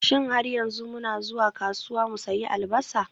Shin har yanzu muna zuwa kasuwa mu sayi Albasa?